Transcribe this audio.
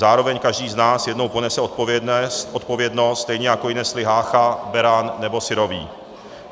Zároveň každý z nás jednou ponese odpovědnost, stejně jako ji nesli Hácha, Beran nebo Syrový.